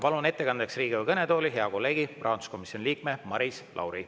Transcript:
Palun ettekandjaks Riigikogu kõnetooli hea kolleegi, rahanduskomisjoni liikme Maris Lauri.